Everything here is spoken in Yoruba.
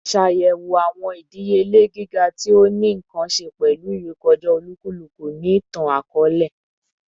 Ṣayẹwo awọn idiyele giga ti o ni nkan ṣe pẹlu irekọja olukuluku ni itan-akọọlẹ